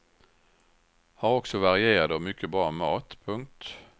Har också varierad och mycket bra mat. punkt